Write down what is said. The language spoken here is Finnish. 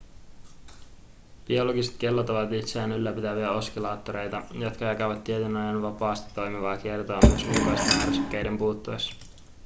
biologiset kellot ovat itseään ylläpitäviä oskillaattoreita jotka jatkavat tietyn ajan vapaasti toimivaa kiertoa myös ulkoisten ärsykkeiden puuttuessa